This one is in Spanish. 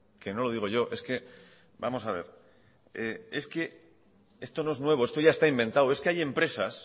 que no lo digo yo es que vamos a ver esto no es bueno esto ya está inventado es que hay empresas